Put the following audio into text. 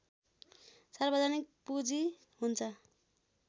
सार्वजनिक पूँजी हुन्छ